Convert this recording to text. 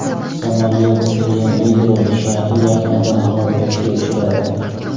Samolyot Rionegro shahri yaqinida halokatga uchradi.